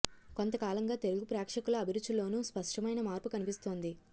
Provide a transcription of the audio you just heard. కొంత కాలంగా తెలుగు ప్రేక్షకుల అభిరుచిలోను స్పష్టమైన మార్పు కనిపిస్తోంది